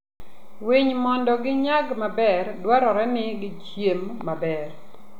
Winy Mondo ginyag maber, dwarore ni gichiem maber.